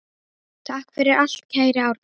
Takk fyrir allt, kæri Árni.